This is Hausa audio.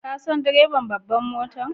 Kun san direban babbar mota?